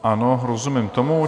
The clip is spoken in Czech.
Ano, rozumím tomu.